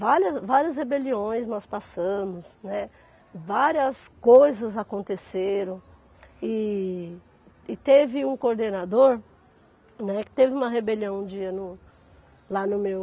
Várias várias rebeliões nós passamos, né, várias coisas aconteceram e e teve um coordenador, né, que teve uma rebelião um dia no lá no meu